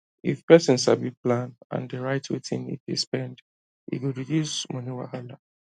if person sabi plan and dey write wetin e dey spend e go reduce money wahala